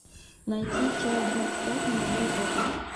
найти часть двадцать пять молодой папа